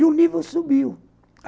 E o nível subiu.